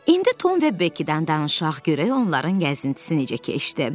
İndi Tom və Bekkidən danışaq, görək onların gəzintisi necə keçdi.